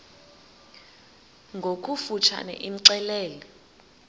ngokofu tshane imxelele